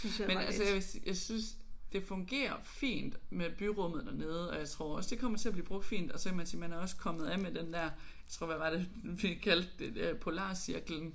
Men altså jeg vil sige jeg synes det fungerer fint med byrummet dernede og jeg tror også det kommer til at blive brugt fint og så kan man sige man også man er også kommet af med den tror hvad var det man kaldte den der øh polarcirklen